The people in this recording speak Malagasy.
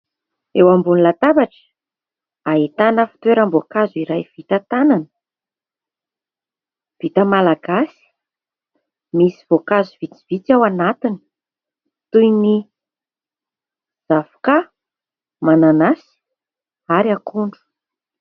Eo ambony latabatra ahitana fitoeram-boankazo iray vita tanana, vita malagasy. Misy voankazo vitsivitsy ao anatiny toy ny zavoka, mananasy ary akondro.